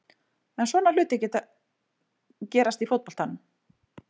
En svona hlutir gerast í fótboltanum.